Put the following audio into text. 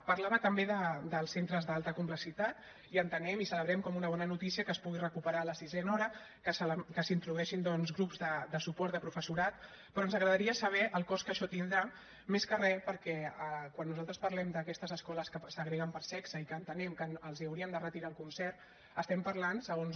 parlava també dels centres d’alta complexitat i entenem i celebrem com una bona notícia que es pugui recuperar la sisena hora que s’introdueixin doncs grups de suport de professorat però ens agradaria saber el cost que això tindrà més que re perquè quan nosaltres parlem d’aquestes escoles que segreguen per sexe i que entenem que els hauríem de retirar el concert estem parlant segons